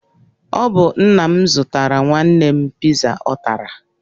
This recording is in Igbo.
Ọ bụ nna m zụtara nwanne m piza ọ tara.